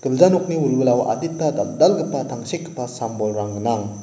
gilja nokni wilwilao adita dal·dalgipa tangsekgipa sam-bolrang gnang.